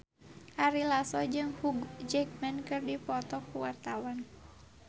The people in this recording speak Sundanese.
Ari Lasso jeung Hugh Jackman keur dipoto ku wartawan